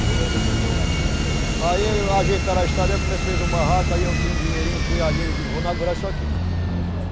Aí ele mandou aqui, você. Aí ajeitaram a estrada, aí eu comecei, fiz o barraco, aí eu tinha um dinheirinho, fui ali, eu digo, vou inaugurar isso aqui.